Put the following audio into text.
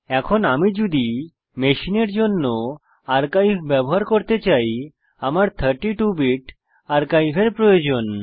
এখন আমি যদি মেশিনের জন্য আর্কাইভ ব্যবহার করতে চাই আমার 32 বিট আর্কাইভ এর প্রয়োজন